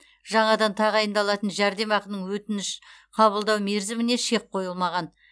жаңадан тағайындалатын жәрдемақының өтініш қабылдау мерзіміне шек қойылмаған